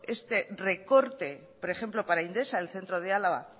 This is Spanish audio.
este recorte por ejemplo para indesa el centro de álava